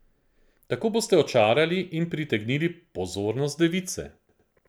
Tako boste očarali in pritegnili pozornost device.